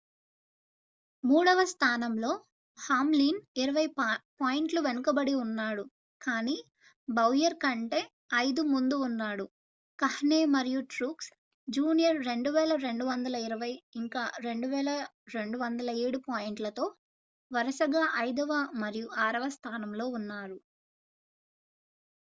మూడవ స్థానంలో హామ్లిన్ ఇరవై పాయింట్ల వెనుకబడి ఉన్నాడు కాని బౌయర్ కంటే ఐదు ముందు ఉన్నాడు కహ్నే మరియు ట్రూక్స్ జూనియర్ 2,220 ఇంకా 2,207 పాయింట్లతో వరుసగా ఐదవ మరియు ఆరవ స్థానంలో ఉన్నారు